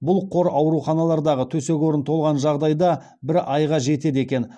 бұл қор ауруханалардағы төсек орын толған жағдайда бір айға жетеді екен